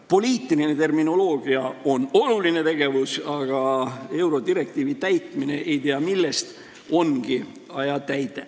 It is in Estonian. Poliitiline terminoloogia on oluline tegevus, aga eurodirektiivi täitmine ei tea milleks ongi ajatäide.